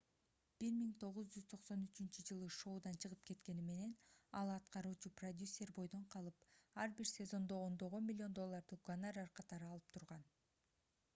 1993-ж шоудан чыгып кеткени менен ал аткаруучу продюсер бойдон калып ар бир сезондо ондогон миллион долларды гонорар катары алып турган